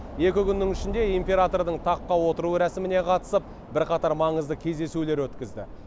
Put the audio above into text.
екі күннің ішінде императордың таққа отыру рәсіміне қатысып бірқатар маңызды кездесулер өткізді